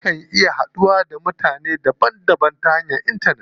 Akan iya haduwa da mutane daban daban ta hanyar intanet.